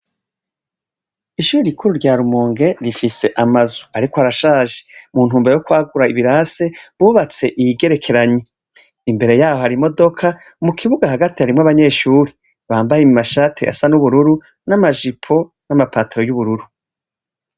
Ishure rikuru rya Rumonge rifise amazu ariko arashaje mu ntumbero yo kwagura ibirase bubatse iyigerekeranye, imbere yaho hari imodoka mukibuga hagati harimwo abanyeshure bambaye amashati asa nubururu namajipo n'amapataro yubururu.